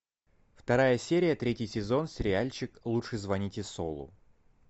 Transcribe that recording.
вторая серия третий сезон сериальчик лучше звоните солу